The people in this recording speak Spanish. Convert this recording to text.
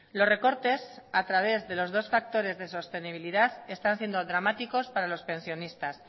los recortes a través de los dos factores de sostenibilidad están siendo dramáticos para los pensionistas